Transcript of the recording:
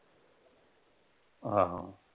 ਆਹੋ।